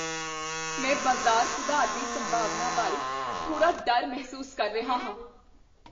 ਮੈਂ ਬਾਜ਼ਾਰ ਸੁਧਾਰ ਦੀ ਸੰਭਾਵਨਾ ਬਾਰੇ ਥੋੜ੍ਹਾ ਡਰ ਮਹਿਸੂਸ ਕਰ ਰਿਹਾ ਹਾਂ।